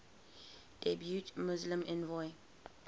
depute muslim envoy